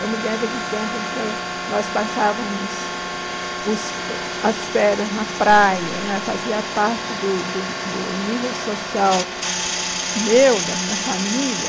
Eu me lembro do tempo em que eu nós passávamos os as férias na praia né, fazia parte do do do nível social meu, da minha família,